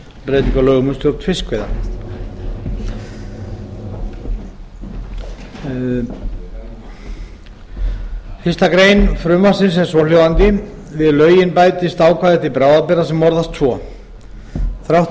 um breytingu á lögum um stjórn fiskveiða fyrstu grein frumvarpsins er svohljóðandi við lögin bætist nýtt ákvæði til bráðabirgða sem orðast svo þrátt